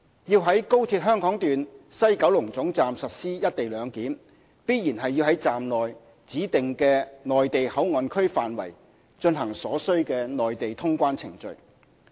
要在高鐵香港段西九龍總站實施"一地兩檢"，必然要在站內指定的"內地口岸區"範圍，進行所須的內地通關程序。